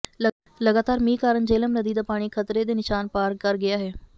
ਲਗਾਤਾਰ ਮੀਂਹ ਕਾਰਨ ਜੇਹਲਮ ਨਦੀ ਦਾ ਪਾਣੀ ਖ਼ਤਰੇ ਦੇ ਨਿਸ਼ਾਨ ਪਾਰ ਕਰ ਗਿਆ ਹੈ